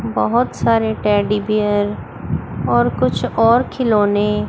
बहोत सारे teddy bear और कुछ और खिलौने--